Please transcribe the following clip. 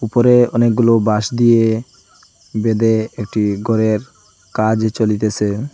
উপরে অনেকগুলো বাঁশ দিয়ে বেঁধে একটি ঘরের কাজ চলিতেসে।